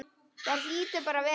Það hlýtur bara að vera.